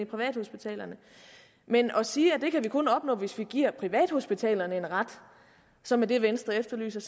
privathospitalerne men at sige at det kan vi kun opnå hvis vi giver privathospitalerne en ret som er det venstre efterlyser